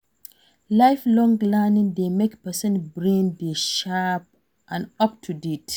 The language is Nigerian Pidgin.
Life long learning dey make person brain dey sharp and up to date